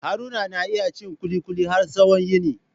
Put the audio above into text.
Haruna na iya cin kulikuli har tsawon yini.